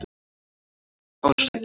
Ársæll